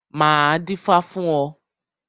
Máa dífá fún ọ.